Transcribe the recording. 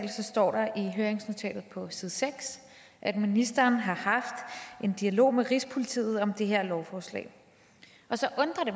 står der i høringsnotatet på side seks at ministeren har haft en dialog med rigspolitiet om det her lovforslag og så undrer det